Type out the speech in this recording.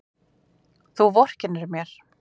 Þú vorkennir mér!